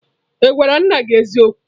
Ị gwara nna gị eziokwu?